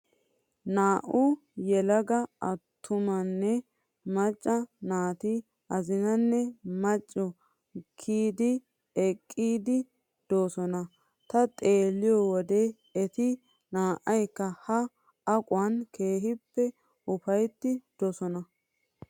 Naa'u yelaga attumanne macca naati azinanne machcho kiyidi ekettiiddi doosona. Ta xeelliyoo wode eti naa'ayikka ha aquwan keehippe upayttiiddi doosona.